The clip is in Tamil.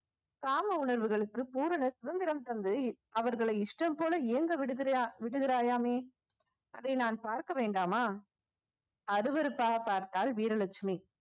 காம உணர்வுகளுக்கு பூரண சுதந்திரம் தந்தது இவ்~ அவர்களை இஷ்டம் போல ஏங்க விடுகிறியா~ விடுகிறாயாமே அதை நான் பார்க்க வேண்டாமா அருவெருப்பாக பார்த்தாள் வீரலட்சுமி